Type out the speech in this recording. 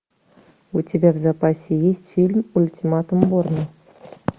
у тебя в запасе есть фильм ультиматум борна